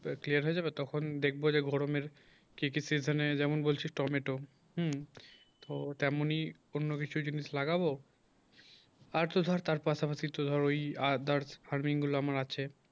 clear হয়ে যাবে তখন দেখব যে গরমে ঠিকই সিজনে যেমন বলছিস টমেটো হুম তো তেমনি অন্য কিছু জিনিস লাগাবো আর তো ধর তার পাশাপাশি তো ধর ওই আর ধর farming গুলো আমার আছে